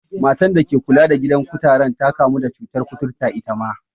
Matan da ke kula da gidan kutaren ta kamu da cutar kuturta itama.